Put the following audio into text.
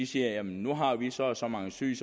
siger nu har vi så og så mange syge